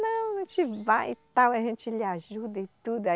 Não, a gente vai e tal, a gente lhe ajuda e tudo. aí